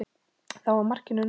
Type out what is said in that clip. Þá var markinu náð.